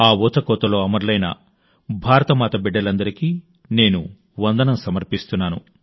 ఆ ఊచకోతలో అమరులైన భారతమాత బిడ్డలందరికీ నేను వందనం సమర్పిస్తున్నాను